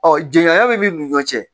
Ɔ jɛŋa bɛ n'u cɛ